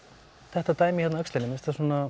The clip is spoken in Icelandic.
þetta dæmi hérna á öxlinni mér